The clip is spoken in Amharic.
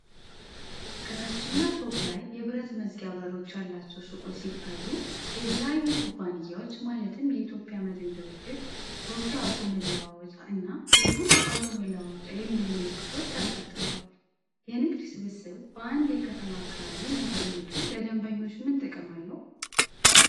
ከታችኛው ፎቅ ላይ የብረት መዝጊያ በሮች ያላቸው ሱቆች ሲታዩ፣ የተለያዩ ኩባንያዎች ማለትም የኢትዮጵያ መድን ድርጅት ፣ ሮኪ አውቶ መለዋወጫ እና ጃዱ አውቶ መለዋወጫ የሚል ምልክቶች ተንጠልጥለዋል። የንግድ ስብስብ በአንድ የከተማ አካባቢ መገኘቱ ለደንበኞች ምን ጥቅም አለው